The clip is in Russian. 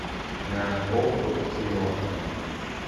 на окко киноха